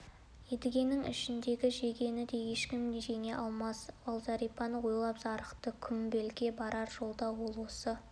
едігенің ішіндегі жегені де ешкім жеңе алмас ол зәрипаны ойлап зарықты құмбелге барар жолда ол осы